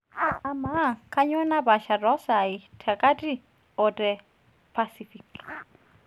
amaa kanyoo napaasha too isai te kati oo te pasific